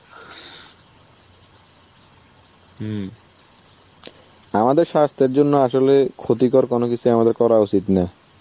আমাদের স্বাস্থ্যের জন্য আসলে ক্ষতিকর কোন কিছুই আমাদের করা উচিত না.